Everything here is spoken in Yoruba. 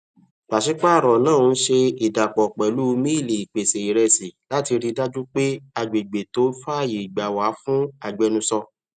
pàṣípààrọ náà ń ṣe ìdàpọ pẹlú miili ìpèsè ìrèsì láti rí dájú pé agbègbè tó fàáyégbà wà fún agbẹnusọ